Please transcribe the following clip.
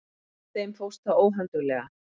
Þeim fórst það óhönduglega.